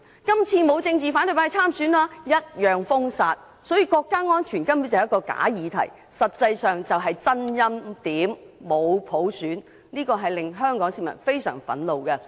今次沒有反對派參選，但一樣被封殺，所以國家安全根本是一個假議題，實際上就是真欽點，沒有普選，香港市民非常憤怒。